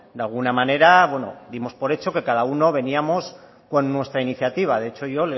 de alguna manera dimos por hecho que cada uno veníamos con nuestra iniciativa de hecho ayer